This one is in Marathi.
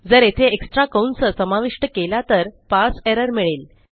जर येथे एक्स्ट्रा कंस समाविष्ट केला तर पारसे एरर मिळेल